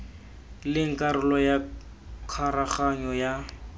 leng karolo ya karoganyo ya